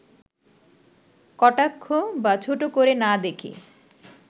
কটাক্ষ বা ছোট করে না দেখে